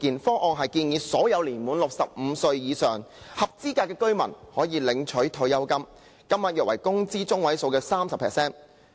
諮詢文件建議，所有年滿65歲或以上的合資格居民將可以每月領取退休金，金額約為工資中位數的 30%。